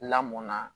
Lamɔn na